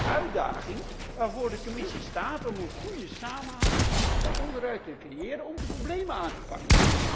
Dat is de uitdaging waarvoor de Commissie staat een goede samenhang van onderuit te creëren, om de problemen aan te pakken.